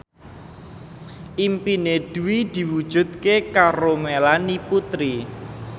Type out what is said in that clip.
impine Dwi diwujudke karo Melanie Putri